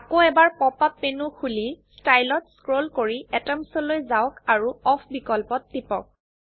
আকৌ এবাৰ pop up menu খুলি ষ্টাইল ত স্ক্ৰোল কৰি এটমছ লৈ যাওক আৰু অফ বিকল্পত টিপক